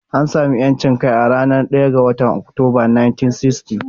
An sami 'yancin kai a ranar 1 ga Oktoba, 1960.